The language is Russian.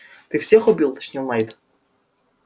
ты всех убил уточнил найд